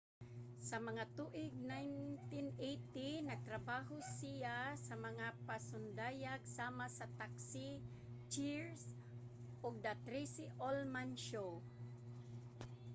sa mga tuig 1980 nagtrabaho siya sa mga pasundayag sama sa taksi cheers ug the tracey ullman show